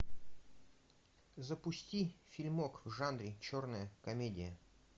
запусти фильмок в жанре черная комедия